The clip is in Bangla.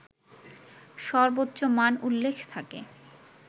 সর্বোচ্চ মান উল্লেখ থাকে